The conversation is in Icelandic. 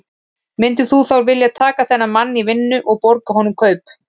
Myndir þú þá vilja taka þennan mann í vinnu og borga honum kaup?